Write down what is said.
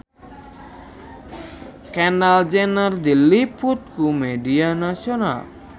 Kendall Jenner diliput ku media nasional